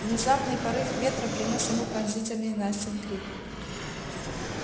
внезапный порыв ветра принёс ему пронзительный настин крик